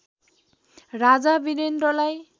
राजा वीरेन्द्रलाई